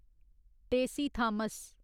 Tessy Thomas